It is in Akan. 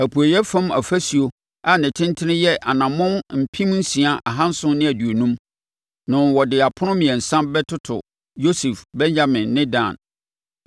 Apueeɛ fam ɔfasuo a ne tentene yɛ anammɔn mpem nsia ahanson ne aduonum (6,750) no, wɔde apono mmiɛnsa bɛtoto Yosef, Benyamin ne Dan.